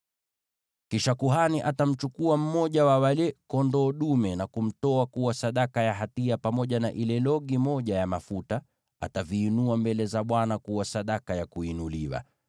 “Kisha kuhani atamchukua mmoja wa wale kondoo dume na kumtoa kuwa sadaka ya hatia, pamoja na ile logi moja ya mafuta; ataviinua mbele za Bwana kuwa sadaka ya kuinuliwa.